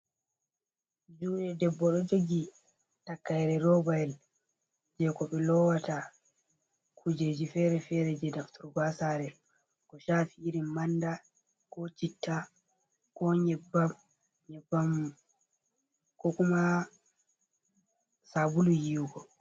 Jude debbo ɗo jogi takaire roba yel, je ko be lowata kujeji fere-fere je nafturgo haa saare, ko shaafi irin manda, ko citta, ko nyebbam, nyebbam ko kuma sabulu yiwugo.